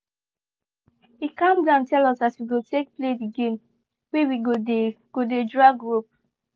he calm down tell us as we go take play the game wey we go dey go dey drag rope